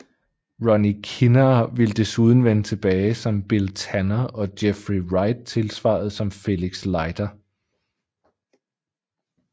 Rory Kinnear ville desuden vende tilbage som Bill Tanner og Jeffrey Wright tilsvarende som Felix Leiter